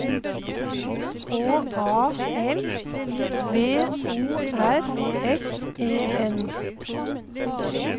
H A L V O R S E N